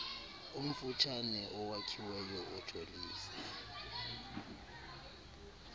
omfutshane owakhiweyo ojolise